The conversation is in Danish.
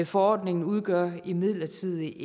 forordningen udgør imidlertid